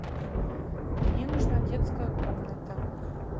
мне нужна детская комната